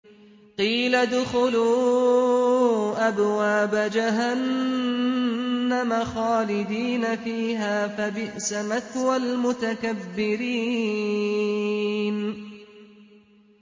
قِيلَ ادْخُلُوا أَبْوَابَ جَهَنَّمَ خَالِدِينَ فِيهَا ۖ فَبِئْسَ مَثْوَى الْمُتَكَبِّرِينَ